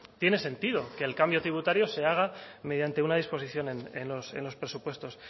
tiene sentido que el cambio tributario se haga mediante una disposición en los presupuestos